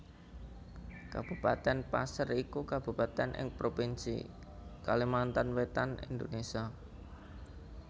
Kabupatèn Paser iku kabupatèn ing Provinsi Kalimantan Wétan Indonésia